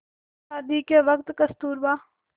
शादी के वक़्त कस्तूरबा